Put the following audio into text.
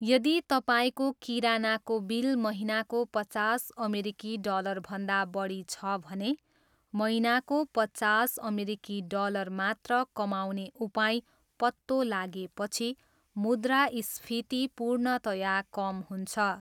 यदि तपाईँको किरानाको बिल महिनाको पचास अमेरिकी डलरभन्दा बढी छ भने महिनाको पचास अमेरिकी डलर मात्र कमाउने उपाय पत्तो लागेपछि मुद्रास्फीति पूर्णतया कम हुन्छ।